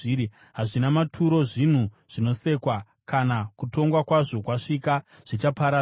Hazvina maturo, zvinhu zvinosekwa; kana kutongwa kwazvo kwasvika, zvichaparadzwa.